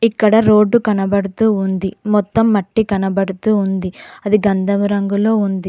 ఇక్కడ రోడ్డు కనబడుతూ ఉంది మొత్తం మట్టి కనపడుతూ ఉంది అది గంధము రంగులో ఉంది.